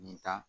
Nin ta